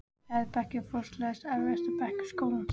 Fjórði bekkur var fortakslaust erfiðasti bekkur skólans.